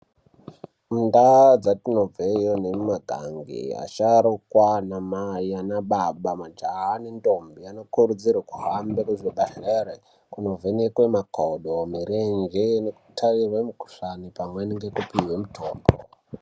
Mundau dzatinobvaiyo nemumaganga vasharukwa nana mai nana baba majaha nendombi dzino kurudzirwa kuhamba nemuzvibhedhlera kundo vhenekwa makodo mirenje neku taiwe mikuhlani pamweni nekupihwa mitombo.